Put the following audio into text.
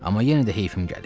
Amma yenə də heyfim gəlir.